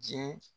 Diɲɛ